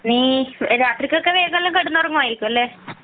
നീ രാത്രിക്ക് ഒക്കെ വേഗം കിടന്നുറങ്ങുമായിരിക്കും അല്ലെ